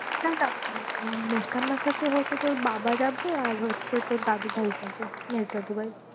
না না মেজ ঠাম্মার সাথে হয় তো তোর বাবা যাবে আর হচ্ছে তোর দাদুভাই যাবে। মেজ দাদুভাই